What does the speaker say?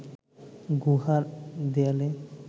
গুহার দেয়ালে